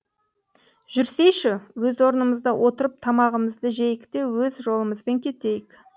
жүрсейші өз орнымызда отырып тамағымызды жейік те өз жолымызбен кетейік